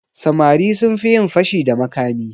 Samari sun fi yin fashi da makami.